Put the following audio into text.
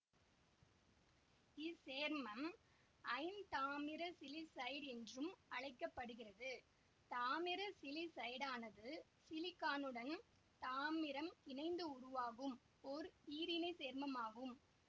இச் சேர்மம் ஐந்தாமிர சிலிசைடு என்றும் அழைக்க படுகிறது தாமிர சிலிசைடானது சிலிக்கானுடன் தாமிரம் இணைந்து உருவாகும் ஓர் ஈரிணைச் சேர்மமாகும்